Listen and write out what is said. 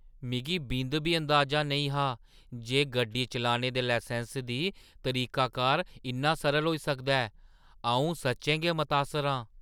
मिगी बिंद बी अंदाजा नेईं हा जे गड्डी चलाने दे लसैंस दी तरीकाकार इन्ना सरल होई सकदा ऐ । अंऊ सच्चें गै मतासर आं ।